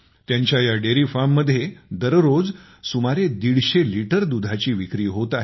त्यांच्या या डेरीफार्ममध्ये दररोज सुमारे दीडशे लिटर दुधाची विक्री होत आहे